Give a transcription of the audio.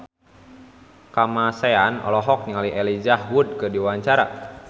Kamasean olohok ningali Elijah Wood keur diwawancara